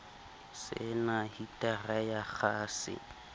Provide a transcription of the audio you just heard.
se na hitara ya kgase